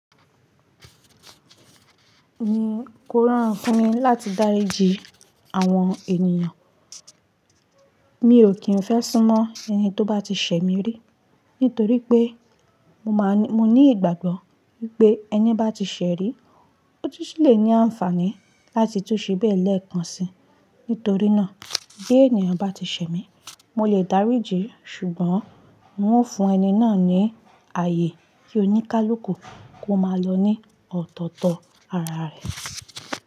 Kórorun fún mi láti dáríji àwọn ènìyàn. Mi ò kí ń fẹ́ súnmọ́ ẹni tó bá ti ṣẹ̀ mí rí, nítorí pé mo ní ìgbàgbọ́ wípé ẹni bá ti ṣẹ̀ rí, ó ti ṣì lè ní àǹfààní láti tú ṣíbẹ́ẹ̀ lẹ́ẹ̀kan si. Nítorí náà bí ènìyàn bá ti ṣẹ̀ mí, mo lè dáríji, ṣùgbọ́n n ó fún ẹni náà ní ààyè kí oníkálùkù kó máa lọ ní ọ̀tọ̀ọ̀tọ̀ ara rẹ̀.